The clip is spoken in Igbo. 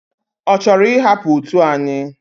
Ochoro ihapu otu anyi?